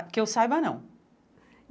que eu saiba não.